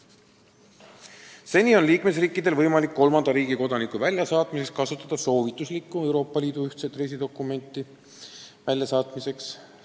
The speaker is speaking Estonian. Seni on liikmesriikidel olnud võimalik kolmanda riigi kodaniku tagasisaatmiseks kasutada soovituslikku Euroopa Liidu ühtset reisidokumenti väljasaatmiseks.